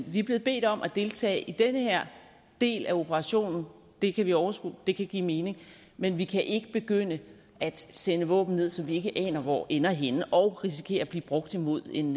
vi er blevet bedt om at deltage i den her del af operationen det kan vi overskue og det kan give mening men vi kan ikke begynde at sende våben ned som vi ikke aner hvor ender henne og risikerer at blive brugt imod en